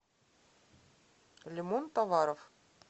лимон товаров